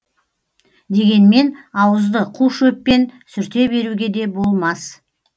дегенмен ауызды қу шөппен сүрте беруге де болмас